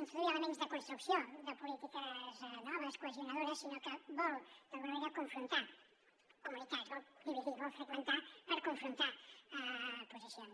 introduir elements de construcció de polítiques noves cohesionadores sinó que vol d’alguna manera confrontar comunitats vol dividir vol fragmentar per confrontar posicions